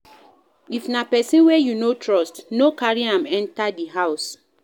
If na person wey you no trust, no carry am enter di house